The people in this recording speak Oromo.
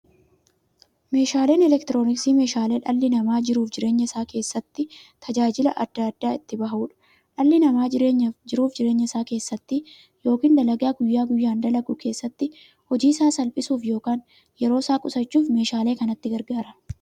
Meeshaaleen elektirooniksii meeshaalee dhalli namaa jiruuf jireenya isaa keessatti, tajaajila adda addaa itti bahuudha. Dhalli namaa jiruuf jireenya isaa keessatti yookiin dalagaa guyyaa guyyaan dalagu keessatti, hojii isaa salphissuuf yookiin yeroo isaa qusachuuf meeshaalee kanatti gargaarama.